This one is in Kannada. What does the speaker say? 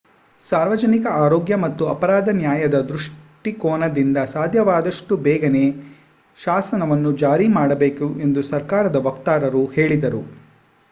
ಸಾರ್ವಜನಿಕ ಆರೋಗ್ಯ ಮತ್ತು ಅಪರಾಧ ನ್ಯಾಯದ ದೃಷ್ಟಿಕೋನದಿಂದ ಸಾಧ್ಯವಾದಷ್ಟು ಬೇಗನೆ ಶಾಸನವನ್ನು ಜಾರಿ ಮಾಡಬೇಕು ಎಂದು ಸರ್ಕಾರದ ವಕ್ತಾರರು ಹೇಳಿದರು